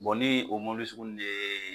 ni o mɔbili sugu ninnu ye